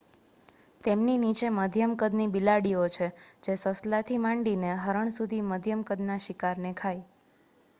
તેમની નીચે મધ્યમ કદની બિલાડીઓ છે જે સસલાથી માંડીને હરણ સુધીમધ્યમ કદના શિકારને ખાય